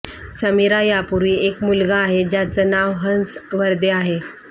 समीरा यापूर्वी एक मुलगा आहे ज्याचं नाव हंस वरदे आहे